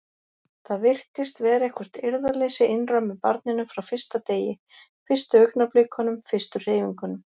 Það virtist vera eitthvert eirðarleysi innra með barninu frá fyrsta degi, fyrstu augnablikunum, fyrstu hreyfingunum.